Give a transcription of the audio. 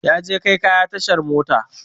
Yaje kai kaya tashar mota